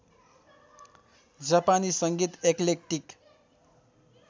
जापानी सङ्गीत एक्लेक्टिक